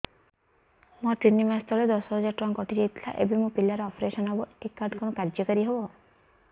ମୋର ତିନି ମାସ ତଳେ ଦଶ ହଜାର ଟଙ୍କା କଟି ଯାଇଥିଲା ଏବେ ମୋ ପିଲା ର ଅପେରସନ ହବ ଏ କାର୍ଡ କଣ କାର୍ଯ୍ୟ କାରି ହବ